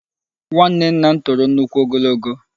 Nwanne nna m toro nnukwu ogologo.